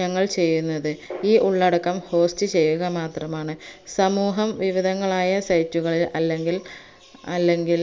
ഞങ്ങൾ ചെയ്യുന്നത് ഈ ഉള്ളടക്കം host ചെയ്യുക മാത്രമാണ് സമൂഹം വിവിധങ്ങളായ site കളിൽ അല്ലെങ്കിൽ അല്ലെങ്കിൽ